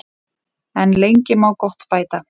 En lengi má gott bæta.